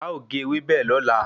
A ọ ge ewébẹ̀ lọ́la